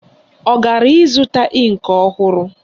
Ọ gara ịzụta ịnkị ọhụrụ?